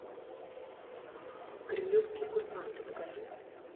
кремлевские курсанты покажи